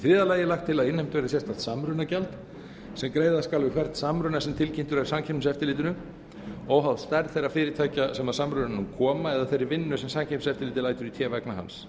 þriðja lagi er lagt til að innheimt verði sérstakt samrunagjald sem greiða skal við hvern samruna sem tilkynntur er samkeppniseftirlitinu óháð stærð þeirra fyrirtækja sem að samrunanum koma eða þeirri vinnu sem samkeppniseftirlitið lætur í té vegna hans